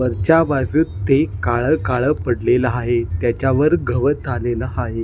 वरच्या बाजुस ते काळ काळ पडलेले आहे त्याच्यावर गवत आलेल आहे.